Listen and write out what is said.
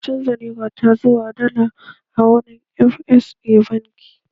Na canza Nera ta zuwa dala a wurin FX a banki